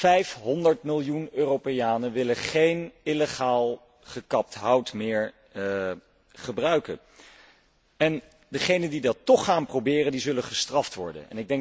500 miljoen Europeanen willen geen illegaal gekapt hout meer gebruiken en degenen die dat toch gaan proberen, zullen gestraft worden.